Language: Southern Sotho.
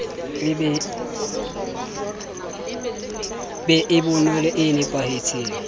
be e bonolo e napahetseng